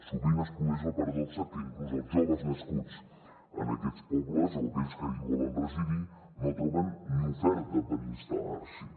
sovint es produeix la paradoxa que inclús els joves nascuts en aquests pobles o aquells que hi volen residir no troben ni oferta per instal·lar s’hi